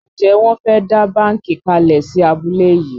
Njé Won fè dá bánkì kalè sí abúlé yí?